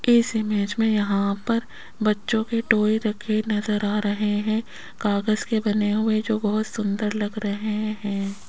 इस इमेज में यहां पर बच्चों के टॉय रखे हुए नज़र आ रहे हैं कागज के बने हुए जो बहोत सुंदर लग रहे हैं।